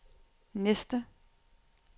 næste